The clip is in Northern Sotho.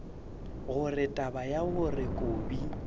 gore taba ya gore kobi